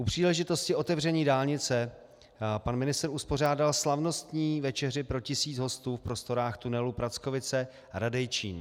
U příležitosti otevření dálnice pan ministr uspořádal slavnostní večeři pro tisíc hostů v prostorách tunelu Prackovice a Radejčín.